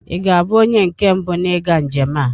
Ị ga-abụ onye nke mbụ n'ịga njem a.